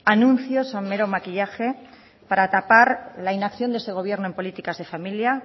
anuncios son meros maquillaje para tapar la inacción de este gobierno en políticas de familia